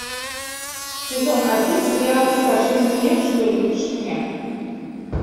сезон один сериала скажи мне что любишь меня